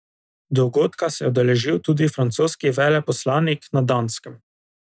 Dogodka se je udeležil tudi francoski veleposlanik na Danskem.